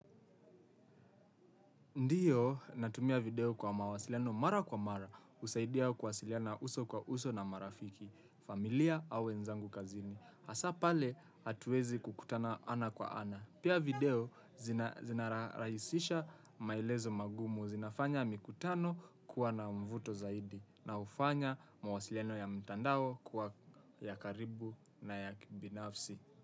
Ndiyo natumia video kwa mawasiliano mara kwa mara. Usaidia kuwasiliana uso kwa uso na marafiki, familia au wenzangu kazini. Asa pale hatuwezi kukutana ana kwa ana. Pia video zinarahisisha maelezo magumu zinafanya mikutano kuwa na mvuto zaidi. Na hufanya mahusiano ya mtandao kuwa ya karibu na ya kibinafsi.